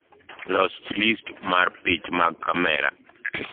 los list mar pich mag kamera